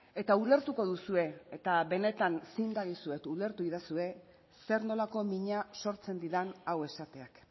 eta ulertuko duzue eta benetan zin dagizuet ulertu iezaidazue zer nolako mina sortzen didan hau esateak